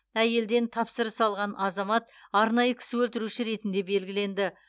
әйелден тапсырыс алған азамат арнайы кісі өлтіруші ретінде белгіленді